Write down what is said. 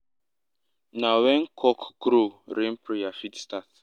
na when cock crow rain prayer fit start.